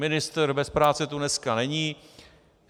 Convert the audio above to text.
Ministr bez práce tu dneska není.